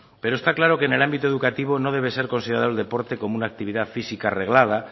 pero está claro que en el ámbito educativo no debe ser considerado el deporte como una actividad física reglada